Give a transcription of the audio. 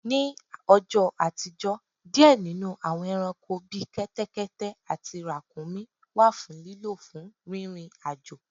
Nì ọjò̩ àtijọ́, diẹ̀ nínù àwọń ẹranko bí kẹ́tẹ́kẹ́tẹ́ àtí ràkuńmí wà fun lílò fún rírin ajo